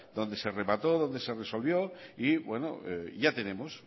donde se remató donde resolvió y bueno ya tenemos